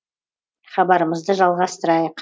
хабарымызды жалғастырайық